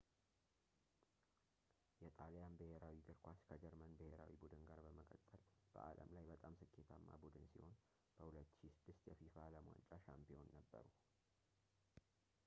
የጣሊያን ብሔራዊ እግር ኳስ ከጀርመን ብሄራዊ ቡድን ጋር በመቀጠል በዓለም ላይ በጣም ስኬታማ ቡድን ሲሆን በ 2006 የፊፋ የዓለም ዋንጫ ሻምፒዮን ነበሩ